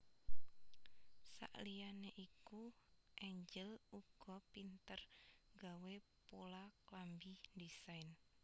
Saliyane iku Angel uga pinter gawé pola klambi ndesain